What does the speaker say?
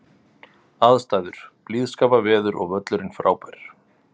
Aðstæður: Blíðskaparveður og völlurinn frábær.